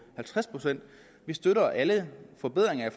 halvtreds procent vi støtter alle forbedringer i